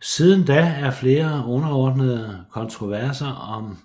Siden da er flere underordnede kontroverser om